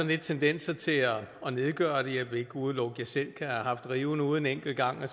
lidt tendenser til at nedgøre det jeg vil ikke udelukke at jeg selv kan have haft riven ude en enkelt gang og